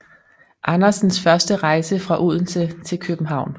Andersens første rejse fra Odense til København